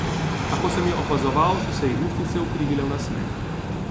A ko sem jo opazoval, so se ji ustnice ukrivile v nasmeh.